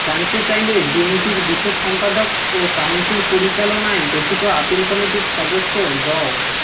জানতে চাইলে বিএনপির বিশেষ সম্পাদক ও কাউন্সিল পরিচালনায় গঠিত আপিল কমিটির সদস্য ড